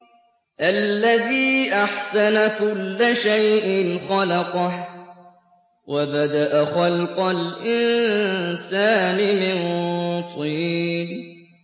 الَّذِي أَحْسَنَ كُلَّ شَيْءٍ خَلَقَهُ ۖ وَبَدَأَ خَلْقَ الْإِنسَانِ مِن طِينٍ